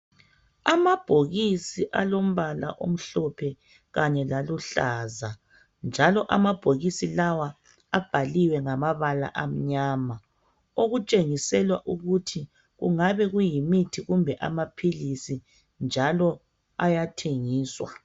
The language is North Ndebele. Amabhokisi alombala omhlophe kanye laluhlaza njalo amabhokisi lawa abhaliwe ngamabala amnyama okutshengiselwa ukuthi kungabe kuyimithi kumbe amapilisi njalo ayathengiswa.